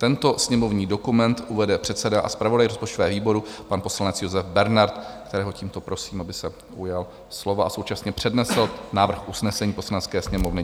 Tento sněmovní dokument uvede předseda a zpravodaj rozpočtového výboru, pan poslanec Josef Bernard, kterého tímto prosím, aby se ujal slova a současně přednesl návrh usnesení Poslanecké sněmovny.